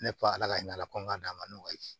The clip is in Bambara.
Ne ko ala ka ɲa ala ko n k'a d'a ma